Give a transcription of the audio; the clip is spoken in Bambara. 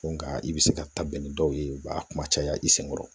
Nga i bɛ se ka ta bɛn ni dɔw ye u b'a kuma caya i senkɔrɔ